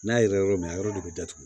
N'a yera yɔrɔ min na a yɔrɔ de bɛ datugu